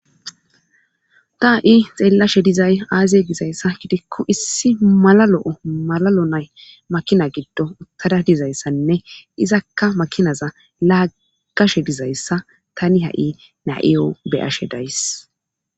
Ta ha7i xeellashe dizay aaziye gizayssa gidikku issi malalo7o malalo nay makina giddo uttada dizayssanne izakka makinaza laagashe dizayssa tani ha7i na7iyo beyashe days.